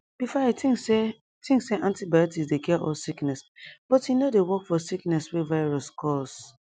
before i think say i think say antibiotics dey cure all sickness but e no dey work for sickness wey virus cause